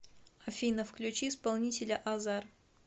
афина включи исполнителя азар